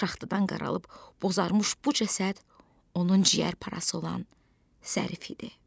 Şaxtadan qaralıb bozarmış bu cəsəd onun ciyər parası olan Zərif idi.